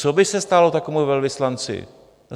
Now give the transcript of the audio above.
Co by se stalo takovému velvyslanci?